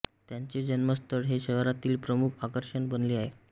त्यांचे जन्मस्थळ हे शहरातील प्रमुख आकर्षण बनले आहे